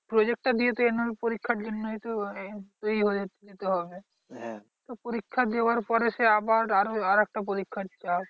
Project টা দিয়েছে তো annual পরীক্ষার জন্যই তো দিতে হবে পরীক্ষা দেওয়ার পরে সেই আবার আরো আরেকটা পরীক্ষা দিতে হয়।